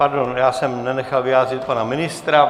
Pardon, já jsem nenechal vyjádřit pana ministra.